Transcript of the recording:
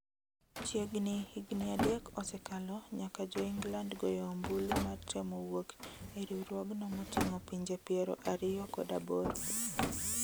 Chiegni higni adek osekalo nyaka joengland goyo ombulu mar temo wuok e riwruogno moting'o pinje piero ariyo kod aboro